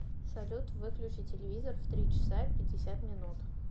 салют выключи телевизор в три часа пятьдесят минут